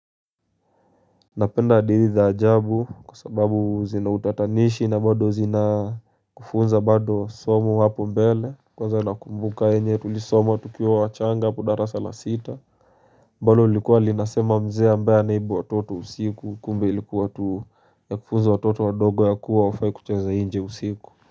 Napenda hadithi za jabu kwa sababu zinautatanishi na bado zina kufunza bado somo hapo mbele. Kwa zana kumbuka enye tulisoma tukiwa wachanga hapo darasa la sita ambalo lilikuwa linasema mzee ambaye anaiba watoto usiku kumbe ilikuwa tu ya kufunza watoto wadogo ya kuwa hawafai kucheza nje usiku.